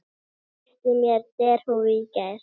Keypti mér derhúfu í gær.